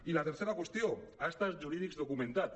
i la tercera qüestió actes jurídics documentats